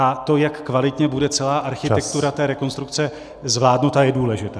A to, jak kvalitně bude celá architektura té rekonstrukce zvládnuta, je důležité.